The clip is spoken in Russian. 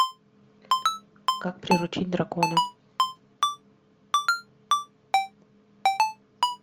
как приручить дракона